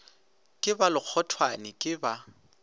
ke ba lekgothwane ke ba